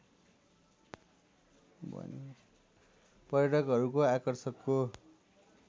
पर्यटकहरूको आकर्षकको